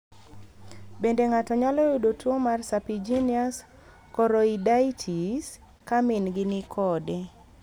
Bende ng'ato nyalo yudo tuo mar serpiginous choroiditis ka min gi ni kode?